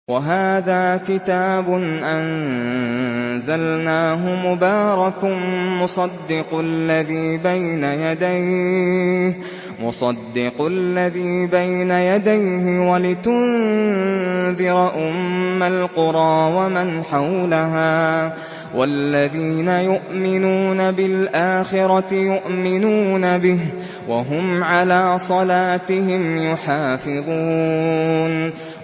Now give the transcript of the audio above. وَهَٰذَا كِتَابٌ أَنزَلْنَاهُ مُبَارَكٌ مُّصَدِّقُ الَّذِي بَيْنَ يَدَيْهِ وَلِتُنذِرَ أُمَّ الْقُرَىٰ وَمَنْ حَوْلَهَا ۚ وَالَّذِينَ يُؤْمِنُونَ بِالْآخِرَةِ يُؤْمِنُونَ بِهِ ۖ وَهُمْ عَلَىٰ صَلَاتِهِمْ يُحَافِظُونَ